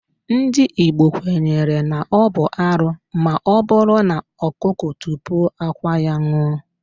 Ndị Igbo kwenyere na ọ bụ arụ maọbụrụ na ọkụkọ tupuo akwa ya ṅụọ